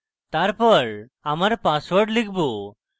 তারপর আমার পাসওয়ার্ড লিখব